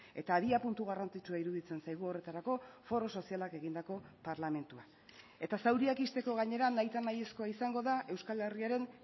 eta abiapuntu garrantzitsua iruditzen zaigu horretarako foro sozialak egindako parlamentua eta zauriak ixteko gainera nahitanahiezkoa izango da euskal herriaren